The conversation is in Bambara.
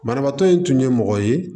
Banabaatɔ in tun ye mɔgɔ ye